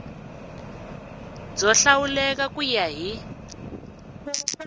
byo hlawuleka ku ya hi